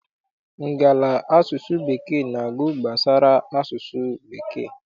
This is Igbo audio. Ngala asụsụ Bekee na-agụ gbasara asụsụ bekee.